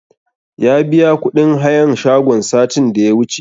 Ya biya kuɗin hayan shagon satin da ya wuce